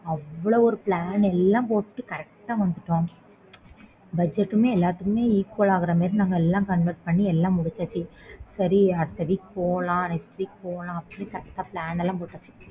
அவ்ளோ ஒரு plan எல்லாம் போட்டு correctbudget எல்லாத்துக்குமே equal ஆகிற மாதிரி நாங்க convert எல்லாம் பண்ணி சரி அடுத்த week போலாம் next week போலாம் அப்பிடி correct எல்லாம் போட்டேன்